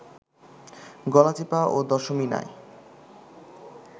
গলাচিপা ও দশমিনায়